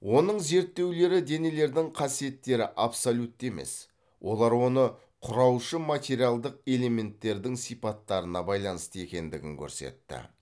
оның зерттеулері денелердің қасиеттері абсолютті емес олар оны құраушы материалдық элементтердің сипаттарына байланысты екендігін көрсетті